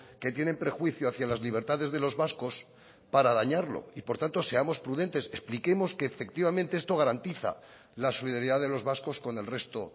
que tienen prejuicio hacia las libertades de los vascos para dañarlo y por tanto seamos prudentes expliquemos que efectivamente esto garantiza la solidaridad de los vascos con el resto